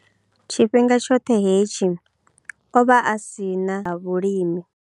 Tshifhinga tshoṱhe hetshi, o vha a si na ḽa vhulimi.